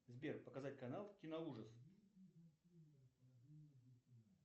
сбер показать канал киноужас